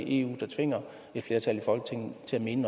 eu der tvinger et flertal i folketinget til at mene